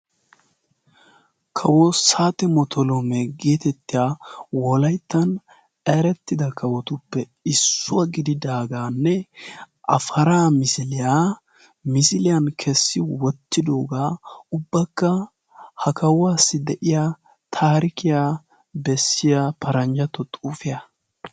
kawo saatemotolome geetettiya wolaittan erettida kawotuppe issuwaa gididaagaanne afara misiliyaa misiiliyan keessi wottidoogaa ubbakka ha kawuwaassi de7iya taarikiyaa bessiya paranjjatto xuufiyaa.